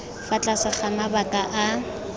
fa tlase ga mabaka a